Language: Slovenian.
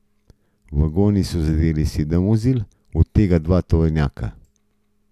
Vagoni so zadeli sedem vozil, od tega dva tovornjaka.